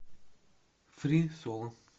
фри соло